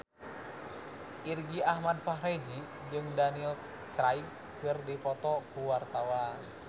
Irgi Ahmad Fahrezi jeung Daniel Craig keur dipoto ku wartawan